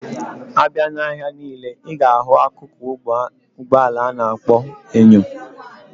Abia na ahia nile, iga ahu akụkụ Ụgbọ ala ana akpo enyo.